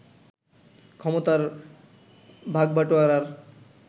ক্ষমতার ভাগবাটোয়ারার